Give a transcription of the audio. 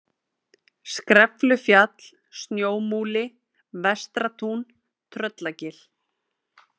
Skreflufjall, Snjómúli, Vestratún, Tröllagil